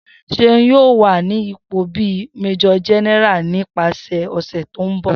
Seun yoo wa ni ipo bi Major General nipasẹ ọsẹ ti n bọ.